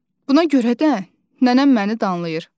Buna görə də nənəm məni danlayır.